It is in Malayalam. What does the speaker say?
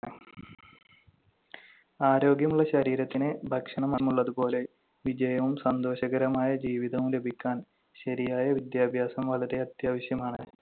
ആരോഗ്യമുള്ള ശരീരത്തിന് ഭക്ഷണം എന്നതുപോലെ വിജയവും സന്തോഷകരവുമായ ജീവിതം ലഭിക്കാൻ ശരിയായ വിദ്യാഭ്യാസം വളരെ അത്യാവശ്യമാണ്.